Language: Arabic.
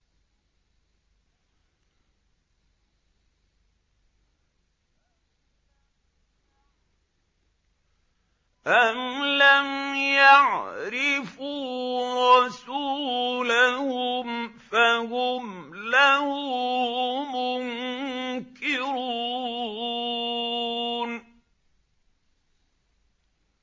أَمْ لَمْ يَعْرِفُوا رَسُولَهُمْ فَهُمْ لَهُ مُنكِرُونَ